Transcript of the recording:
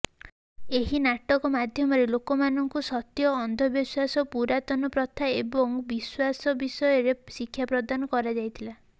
ଏହି ନାଟକ ମାଧ୍ୟମରେ ଲୋକମାନଙ୍କୁ ସତ୍ୟ ଅନ୍ଧବିଶ୍ବାସ ପୁରାତନ ପ୍ରଥା ଏବଂ ବିଶ୍ୱାସ ବିଷୟରେ ଶିକ୍ଷା ପ୍ରଦାନ କରାଯାଇଥିଲା